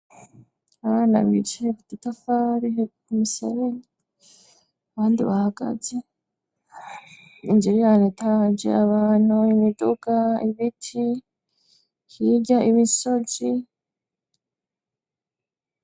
Abana bicae idutafarihe kumisareni abandi bahagaze injerayane taje abantu imiduga ibiti hirya imisozi.